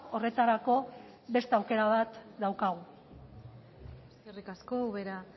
horretarako beste aukera bat daukagu eskerrik asko ubera